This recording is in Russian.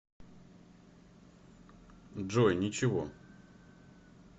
джой ничего